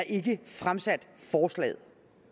ikke fremsat forslaget